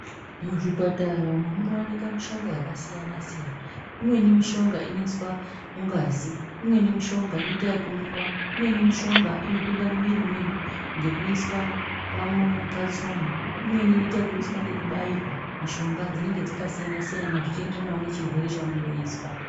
Muzvipatara umo munowanikwe mushonga yakasiyana siyana imweni mishonga inoiswa mungazi, imweni mishonga inoita zvekumwiwa, imweni mishonga inopinda mumwiri medu ngekuiswa patsono, imweni inoita zvekuiswa ngekubairwa, mishonga dzinenge dzakasiyana siyana zvichienderanawo nechirwere chaunenge uchizwa.